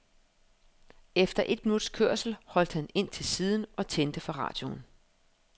Efter et minuts kørsel holdt han ind til siden og tændte for radioen.